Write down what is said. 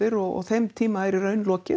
og þeim tíma er lokið